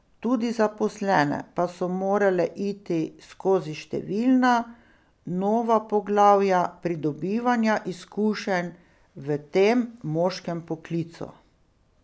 Tudi zaposlene pa so morale iti skozi številna nova poglavja pridobivanja izkušenj v tem moškem poklicu.